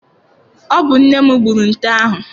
Ọ bụ nne m gbụrụ nte ahụ.